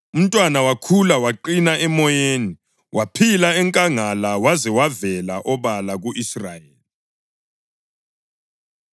Umntwana wakhula waqina emoyeni; waphila enkangala waze wavela obala ku-Israyeli.